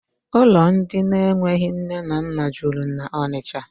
Ụlọ ndị enweghị nne na nna juru na Ọnịcha.